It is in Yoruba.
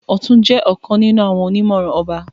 Ọtún jẹ ọkàn nínú àwọn onimọran ọba.